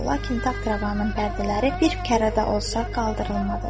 Lakin taxt-rəvanın pərdələri bir kərə də olsa qaldırılmadı.